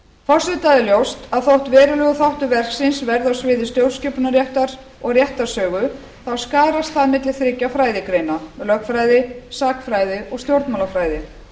forseta er ljóst að þótt verulegur þáttur verksins verði á sviði stjórnskipunarréttar og réttarsögu þá skarast það milli þriggja fræðigreina lögfræði sagnfræði og stjórnmálafræði